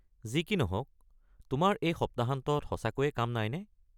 যি কি নহওক, তোমাৰ এই সপ্তাহান্তত সঁচাকৈয়ে কাম নাইনে?